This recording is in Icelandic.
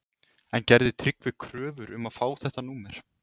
En gerði Tryggvi kröfur um að fá þetta númer?